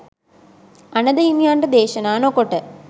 අනඳ හිමියන්ට දේශනා නොකොට